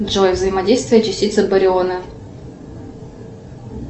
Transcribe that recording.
джой взаимодействие частицы бариона